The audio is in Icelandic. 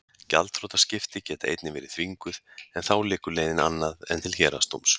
gjaldþrotaskipti geta einnig verið þvinguð en þá liggur leiðin annað en til héraðsdóms